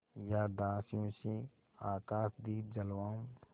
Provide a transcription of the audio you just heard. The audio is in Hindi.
या दासियों से आकाशदीप जलवाऊँ